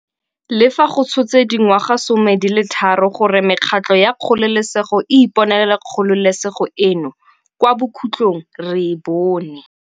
Le fa go tshotse dingwagasome di le tharo gore mekgatlho ya kgololesego e iponele kgololesego eno, kwa bokhutlhong re e bone.